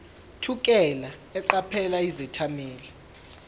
thukela eqaphela izethameli